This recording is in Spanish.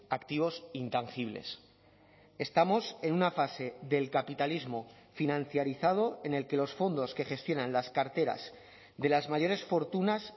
activos intangibles estamos en una fase del capitalismo financiarizado en el que los fondos que gestionan las carteras de las mayores fortunas